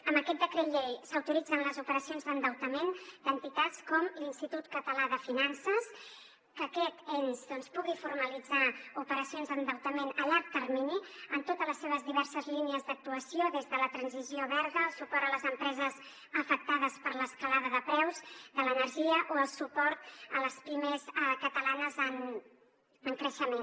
amb aquest decret llei s’autoritzen les operacions d’endeutament d’entitats com l’institut català de finances que aquest ens doncs pugui formalitzar operacions d’endeutament a llarg termini en totes les seves diverses línies d’actuació des de la transició verda el suport a les empreses afectades per l’escalada de preus de l’energia o el suport a les pimes catalanes en creixement